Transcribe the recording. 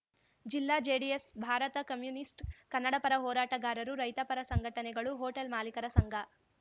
ಜಿಲ್ಲಾ JDS Bharat communist Kannada ಪರ ಹೋರಾಟಗಾರರು ರೈತ ಪರ ಸಂಘಟನೆಗಳು ಹೋಟೆಲ್‌ ಮಾಲೀಕರ ಸಂಘ